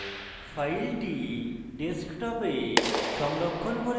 file ডেস্কটপে সংরক্ষণ করব